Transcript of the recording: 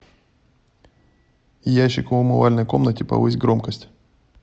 ящик в умывальной комнате повысь громкость